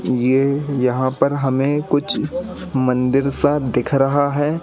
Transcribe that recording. ये यहां पर हमें कुछ मंदिर सा दिख रहा है।